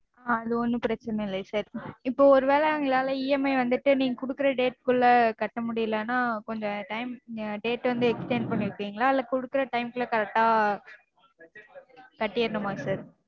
அது ஒன்னும் பிரச்சினை இல்ல sir. இப்போ ஒருவேள எங்களால EMI வந்துட்டு நீங்க கொடுக்கற date க்குள்ள கட்ட முடியலனா கொஞ்சம time date வந்து extend பண்ணிக்குவீங்களா இல்ல கொடுக்கற time க்குள்ள correct ஆ கட்டிரனுமா sir?